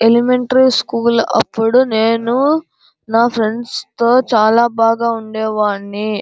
Elementary school అప్పుడు నేను నా ఫ్రెండ్స్ తో చాలా బాగా ఉండేవాడ్ని.